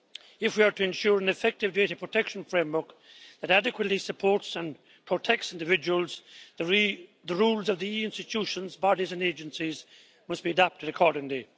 If we are to ensure an effective data protection framework that adequately supports and protects individuals, the rules of the institutions, bodies and agencies must be adapted accordingly.